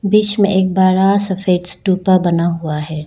बीच में एक बड़ा सफेद स्तूपा बना हुआ है।